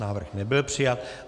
Návrh nebyl přijat.